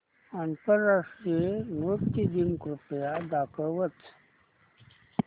आंतरराष्ट्रीय नृत्य दिन कृपया दाखवच